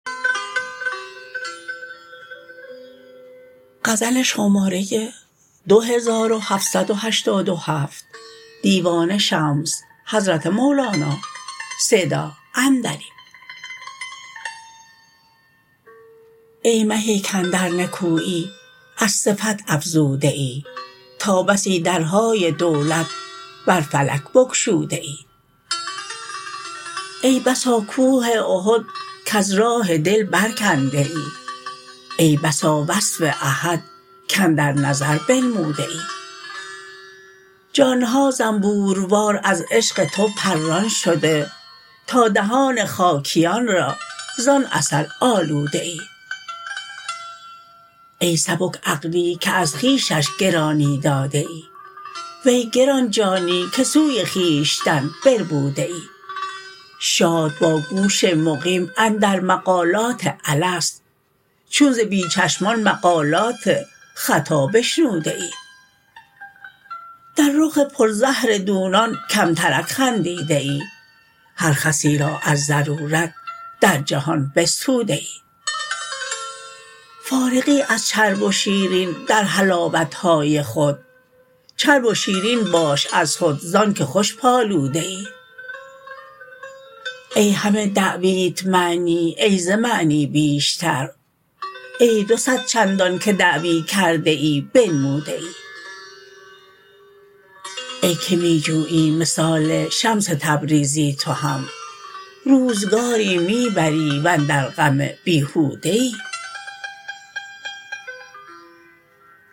ای مهی کاندر نکویی از صفت افزوده ای تا بسی درهای دولت بر فلک بگشوده ای ای بسا کوه احد کز راه دل برکنده ای ای بسا وصف احد کاندر نظر بنموده ای جان ها زنبوروار از عشق تو پران شده تا دهان خاکیان را زان عسل آلوده ای ای سبک عقلی که از خویشش گرانی داده ای وی گران جانی که سوی خویشتن بربوده ای شاد با گوش مقیم اندر مقالات الست چون ز بی چشمان مقالات خطا بشنوده ای در رخ پرزهر دونان کمترک خندیده ای هر خسی را از ضرورت در جهان بستوده ای فارغی از چرب و شیرین در حلاوت های خود چرب و شیرین باش از خود ز آنک خوش پالوده ای ای همه دعویت معنی ای ز معنی بیشتر ای دو صد چندانک دعوی کرده ای بنموده ای ای که می جویی مثال شمس تبریزی تو هم روزگاری می بری و اندر غم بیهوده ای